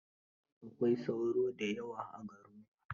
Akwai sauro da yawa a garinku?